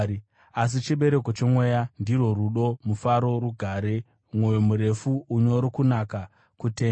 Asi chibereko choMweya ndirwo rudo, mufaro, rugare, mwoyo murefu, unyoro, kunaka, kutendeka,